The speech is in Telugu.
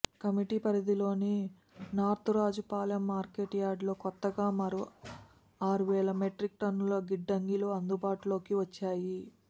కమిటీ పరిధిలోని నార్తురాజుపాళెం మార్కెట్ యార్డ్లో కొత్తగా మరో ఆరు వేల మెట్రిక్ టన్నుల గిడ్డంగులు అందుబాటులోకి వచ్చాయి